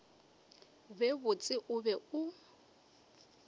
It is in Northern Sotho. be botse o be o